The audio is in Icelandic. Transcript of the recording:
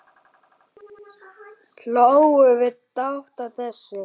Hlógum við dátt að þessu.